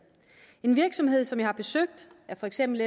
en virksomhed som jeg har besøgt er for eksempel